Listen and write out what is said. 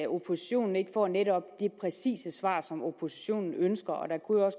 oppositionen ikke får netop det præcise svar som oppositionen ønsker